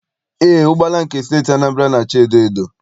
Eé, ụgbọala nke Steeti Anambra na- acha edoedo.